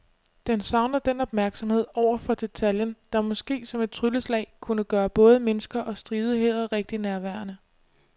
Den savner den opmærksomhed over for detaljen, der måske som et trylleslag kunne gøre både mennesker og stridigheder rigtig nærværende.